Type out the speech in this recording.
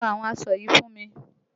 Lọ àwọn aṣọ yìí fún mi!